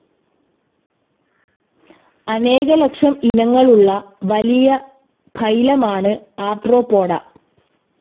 അനേക ലക്ഷം ഇനങ്ങളുള്ള വലിയ ഫൈലമാണ് ആർത്രോപോഡ.